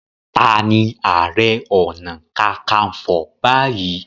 Tani Ààrẹ Ọ̀nà Kakaǹfò báyìí